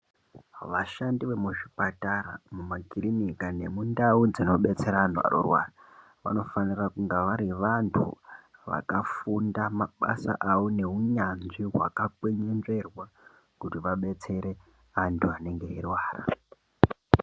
Vashandi vemuzvipatara, mumakirinika nemundau dzinobetserwa antu vanorwara, vanofanira kunga vari vantu vakafunda mabasa avo neunyanzvi hwakakwenenzverwa kuti vabetsere antu anenge eyirwara.